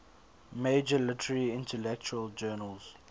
major literary intellectual journals